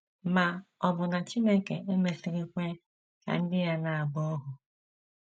Ma um ọ̀ bụ na Chineke emesịghị kwe ka ndị ya na - agba ohu?